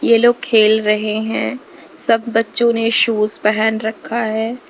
ये लोग खेल रहे हैं सब बच्चों ने शूज़ पहन रखा है।